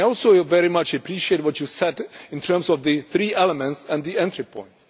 I also very much appreciate what you said in terms of the three elements and the entry point.